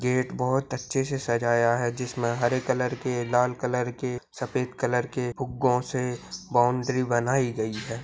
Gate बहुत अच्छे से सजाया है जिसमे हरे कलर के लाल कलर के सफ़ेद कलर के फुगो से बाउंड्री बनाई गई है।